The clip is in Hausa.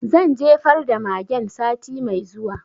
Zan jefar da magen sati mai zuwa